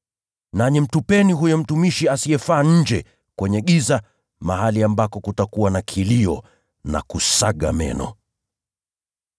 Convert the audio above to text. Nanyi mtupeni huyo mtumishi asiyefaa nje, kwenye giza, mahali ambako kutakuwa na kilio na kusaga meno.’